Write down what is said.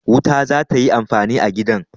Wuta za ta yi amfani a gidan.